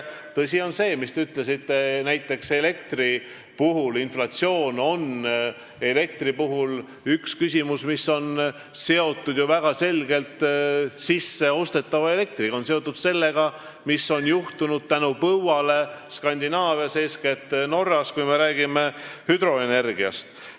Tõsi on see, mis te ütlesite inflatsiooni kohta, see on väga selgelt seotud sisseostetava elektriga, näiteks sellega, mis on juhtunud põua tõttu Skandinaavias, eeskätt Norras, kui me räägime hüdroenergiast.